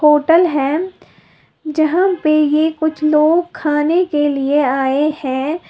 Hotel है जहां पे यह कुछ लोग खाने के लिए आए हैं।